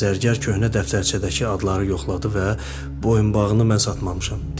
Zərgər köhnə dəftərçədəki adları yoxladı və boyunbağını mən satmamışam dedi.